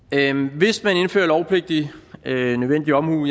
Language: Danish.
hvis man indfører lovpligtig nødvendig omhu